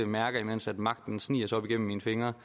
mærker mens magten sniger sig op igennem mine fingre